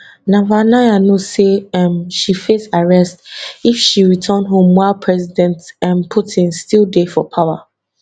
navalnaya know say um she face arrest if she return home while president um putin still dey for power